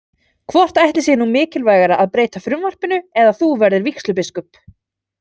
Hvort ætli sé nú mikilvægara að breyta frumvarpinu eða að þú verðir vígslubiskup?